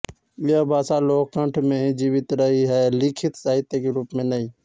यह भाषा लोककंठ में ही जीवित रही है लिखित साहित्य के रूप में नहीं